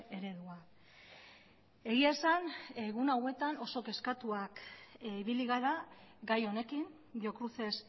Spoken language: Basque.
eredua egia esan egun hauetan oso kezkatuak ibili gara gai honekin biocruces